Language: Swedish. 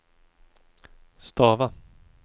stava